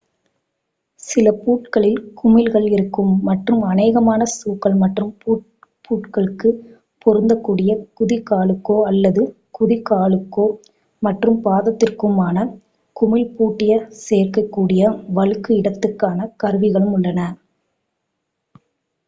சில பூட்களில் குமிழ்கள் இருக்கும் மற்றும் அநேகமான ஷூக்கள் மற்றும் பூட்களுக்கு பொருந்தக் கூடிய குதி காலுக்கோ அல்லது குதிகாலுக்கும் மற்றும் பாதத்திற்குமான குமிழ் பூட்டிய சேர்க்கக் கூடிய வழுக்கும் இடத்துக்கான கருவிகளும் உள்ளன